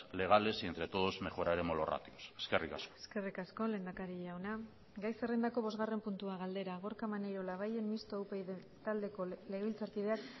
legales y entre todos mejoraremos los ratios eskerrik asko eskerrik asko lehendakari jauna gai zerrendako bosgarren puntua galdera gorka maneiro labayen mistoa upyd taldeko legebiltzarkideak